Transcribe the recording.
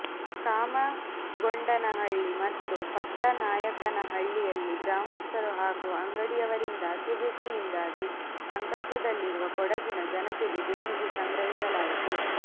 ಕಾಮಗೊಂಡನಹಳ್ಳಿ ಮತ್ತು ಪಟ್ಟನಾಯಕನಹಳ್ಳಿಯಲ್ಲಿ ಗ್ರಾಮಸ್ಥರು ಹಾಗೂ ಅಂಗಡಿಯವರಿಂದ ಅತಿವೃಷ್ಟಿಯಿಂದಾಗಿ ಸಂಕಷ್ಟ್ಟದಲ್ಲಿರುವ ಕೊಡಗಿನ ಜನತೆಗೆ ದೇಣಿಗೆ ಸಂಗ್ರಹಿಸಲಾಯಿತು